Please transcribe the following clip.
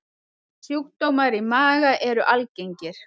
Sjúkdómar í maga eru algengir.